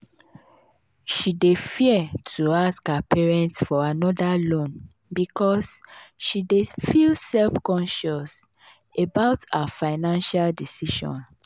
she dey fia to ask her parents for anoda loan because she dey feel self-conscious about her financial decisions.